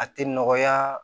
A tɛ nɔgɔya